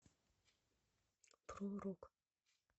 про рок